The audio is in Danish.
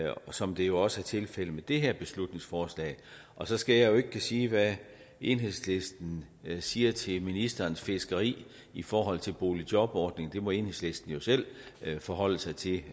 som det jo også er tilfældet med det her beslutningsforslag så skal jeg jo ikke kunne sige hvad enhedslisten siger til ministerens fiskeri i forhold til boligjobordningen det må enhedslisten jo selv forholde sig til